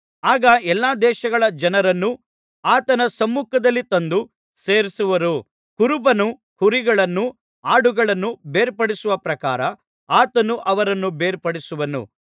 ಆಗ ಎಲ್ಲಾ ದೇಶಗಳ ಜನರನ್ನೂ ಆತನ ಸಮ್ಮುಖದಲ್ಲಿ ತಂದು ಸೇರಿಸುವರು ಕುರುಬನು ಕುರಿಗಳನ್ನೂ ಆಡುಗಳನ್ನೂ ಬೇರ್ಪಡಿಸುವ ಪ್ರಕಾರ ಆತನು ಅವರನ್ನು ಬೇರ್ಪಡಿಸುವನು